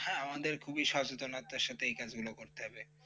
হ্যাঁ আমাদের এক খুবই সচেতনার সাথে এই কাজগুলি করতে হবে ।